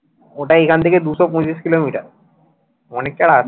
ওটা এখান থেকে দুশো পঁচিশ কিলোমিটার অনেকটা রাস্তা